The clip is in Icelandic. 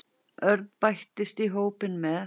Örn bættist í hópinn með